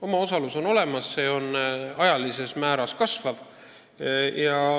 Omaosalus on olemas ja see ajaga kasvab.